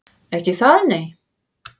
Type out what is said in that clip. Ekki það, nei?